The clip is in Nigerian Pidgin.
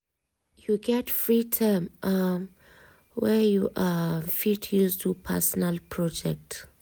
you get free time um wey you um fit use do personal project?